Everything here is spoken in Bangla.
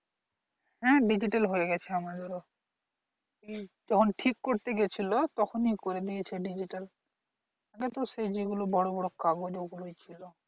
হ্যাঁ digital হয়ে গেছে আমাদেরও উম যখন ঠিক করতে গেছিলো তখনই করে নিয়েছে digital আমাদের তো গুলো বড়ো বড়ো কাগজ ওগুলোই ছিল